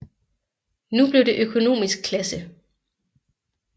Nu blev det en økonomisk klasse